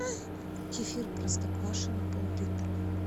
кефир простоквашино пол литра